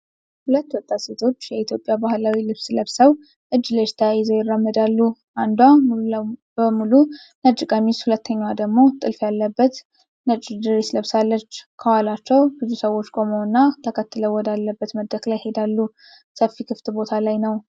ሁለት ወጣት ሴቶች የኢትዮጵያ ባህላዊ ልብስ ለብሰው እጅ ለእጅ ተያይዘው ይራመዳሉ። አንዷ ሙሉ በሙሉ ነጭ ቀሚስ፣ ሁለተኛዋ ደግሞ ጥልፍ ያለበት ነጭ ድሬስ ለብሳለች። ከኋላቸው ብዙ ሰዎች ቆመውና ተከትለው ወዳለበት መድረክ ላይ ይሄዳሉ። ሰፊ ክፍት ቦታ ላይ ነው።